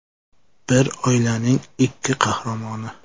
Bir oilaning ikki qahramoni.